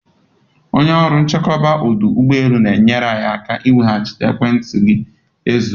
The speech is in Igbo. Onye ọrụ nchekwa ọdụ ụgbọ elu na-enyere anyị aka ị nwetaghachi ekwentị gị zuru